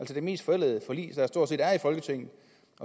set mest forældede forlig i folketinget